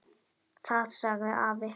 Það sagði afi.